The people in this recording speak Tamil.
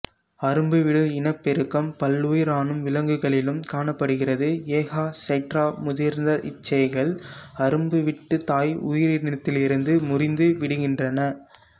அரும்புவிடும் இனப்பெருக்கம் பல்லுயிரணு விலங்குகளிலும் காணப்படுகிறது எ கா ஹைட்ரா முதிர்ந்த இச்சேய்கள் அரும்புவிட்டு தாய் உயிரினத்திலிருந்து முறிந்து விடுகின்றன